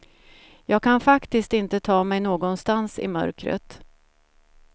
Jag kan faktiskt inte ta mig någonstans i mörkret.